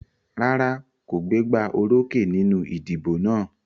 Rárá kò gbégbá orókè nínú ìdìbò náà.